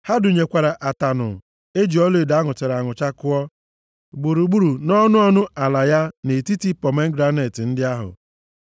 Ha dụnyekwara ataṅụ e ji ọlaedo a nụchara anụcha kpụọ, gburugburu nʼọnụ ọnụ ala ya nʼetiti pomegranet ndị ahụ.